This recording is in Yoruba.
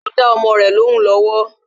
Ó ń dá ọmọ rẹ lóhùn lọ́wọ́